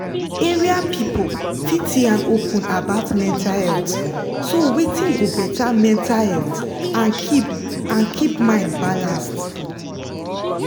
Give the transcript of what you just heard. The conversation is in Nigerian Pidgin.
area people fit yan open about mental health so wetin go better mental health and keep and keep mind balanced.